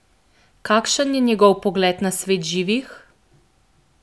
Kakšen je njegov pogled na svet živih?